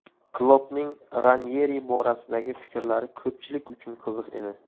Kloppning Ranyeri borasidagi fikrlari ko‘pchilik uchun qiziq edi.